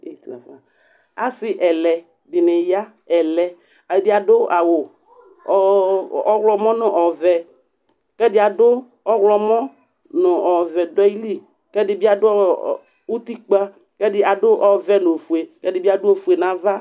Asɩ ɛlɛ dɩnɩ ya Ɛlɛ, ɛdɩ adʋ awʋ ɔɣlɔmɔ nʋ ɔ ɔvɛ kʋ ɛdɩ adʋ ɔɣlɔmɔ nʋ ɔvɛ dʋ ayili kʋ ɛdɩ bɩ adʋ ɔ ɔ utikpǝ kʋ ɛdɩ adʋ ɔvɛ nʋ ofue kʋ ɛdɩ bɩ adʋ ofue nʋ ava